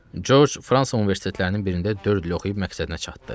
Corc Fransa universitetlərinin birində dörd il oxuyub məqsədinə çatdı.